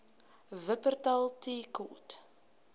wupperthal tea court